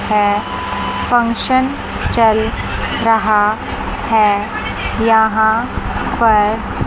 है फंक्शन चल रहा है यहां पर--